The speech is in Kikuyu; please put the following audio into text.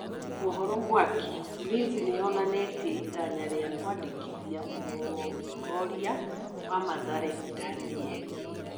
(Mohoro mwaki) Ulinzi nĩyonanĩtie itanya rĩa kwandĩkithia mũrongorio wa Mathare Danieri.